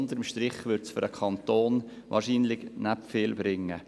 Unter dem Strich wird dies dem Kanton nicht viel bringen.